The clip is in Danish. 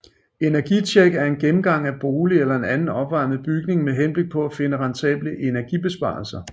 Energitjek er en gennemgang af bolig eller anden opvarmet bygning med henblik på at finde rentable energibesparelser